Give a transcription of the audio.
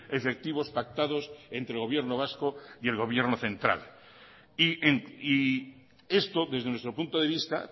efectivos pactados entre gobierno vasco y el gobierno central y esto desde nuestro punto de vista